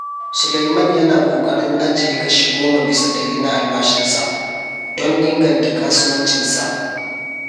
Suleiman yana kokarin ajiye kashi 10% na albashinsa don inganta kasuwancinsa.